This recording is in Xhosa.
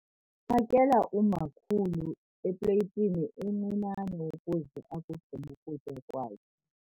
Phakela umakhulu epleyitini encinane ukuze akugqibe ukutya kwakhe.